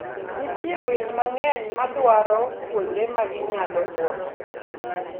Nitie winy mang'eny madwaro kuonde ma ginyalo buokie.